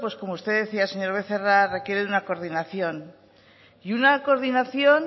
como usted decía señor becerra requiere una coordinación y una coordinación